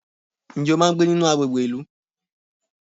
Ǹjẹ́ o máa ń gbé nínú àgbègbè ìlú?